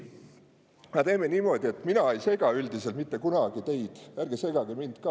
Aga teeme niimoodi, et kuna mina ei sega teid mitte kunagi, siis ärge segage mind ka.